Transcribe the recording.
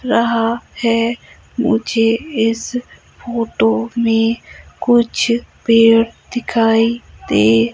रहा है मुझे इस फोटो में कुछ पेड़ दिखाई दे--